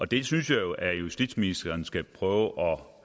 det synes jeg jo at justitsministeren skal prøve at